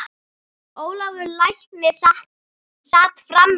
Ólafur læknir sat fram í.